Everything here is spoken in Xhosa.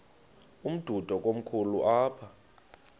umdudo komkhulu apha